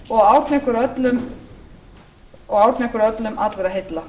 og árna ykkur öllum allra heilla